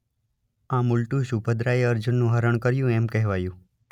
આમ ઉલટું સુભદ્રાએ અર્જુનનું હરણ કર્યું એમ કહેવાયું.